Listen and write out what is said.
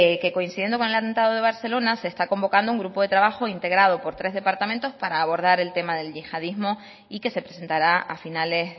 que coincidiendo con el atentado de barcelona se está convocando un grupo de trabajo integrado por tres departamentos para abordar el tema del yihadismo y que se presentará a finales